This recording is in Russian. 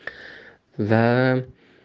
да